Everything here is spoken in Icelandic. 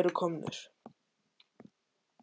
eru komnir